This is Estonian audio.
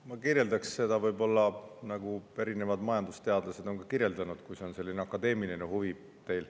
Ma kirjeldaksin seda võib-olla nii, nagu ka erinevad majandusteadlased on seda kirjeldanud, kui see on teil selline akadeemiline huvi.